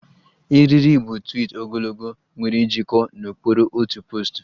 Eriri bu twiit ogologo nwere njikọ n'okpuru otu poostu